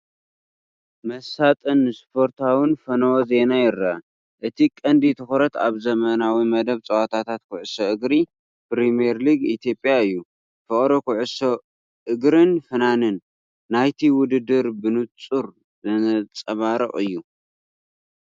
መሳጥን ስፖርታውን ፈነወ ዜና ይርአ። እቲ ቀንዲ ትኹረት ኣብ ሰሙናዊ መደብ ጸወታታት ኩዕሶ እግሪ ፕሪምየር ሊግ ኢትዮጵያ እዩ። ፍቕሪ ኩዕሶ እግሪን ፍናን ናይቲ ውድድርን ብጽቡቕ ዘንጸባርቕ እዩ፡፡